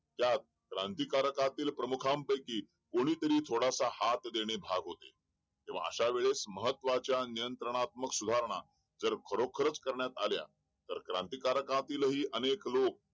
त्यात क्रांतिकारक पैकी कोणी प्रमुखानं पैकी कोणी तरी थोडासा हात देणे भाग होते अश्या वेळेस महत्त्वाच्या नियंत्रात्मक सुधारणा जर खरोकर करण्यात आला तर क्रांतीकारकतही अनेक लोक